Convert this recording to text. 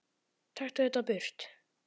Taktu þetta burt!